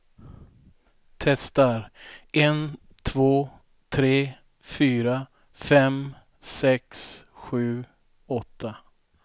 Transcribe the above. Testar en två tre fyra fem sex sju åtta.